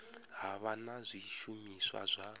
ha vha na zwishumiswa zwa